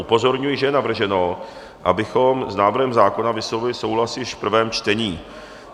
Upozorňuji, že je navrženo, abychom s návrhem zákona vyslovili souhlas již v prvém čtení.